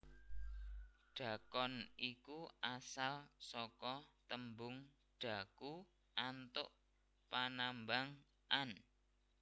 Dhakon iku asal saka tèmbung dhaku antuk panambang an